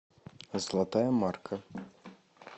золотая марка